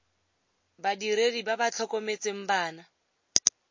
badiredi ba ba tlhokometseng bana